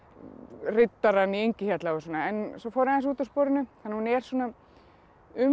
riddarann í Engihjalla og svona en svo fór ég aðeins út af sporinu þannig að hún er svona um